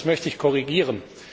Das möchte ich korrigieren.